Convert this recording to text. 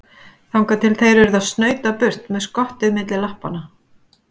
Þangað til þeir urðu að snauta burt með skottið milli lappanna.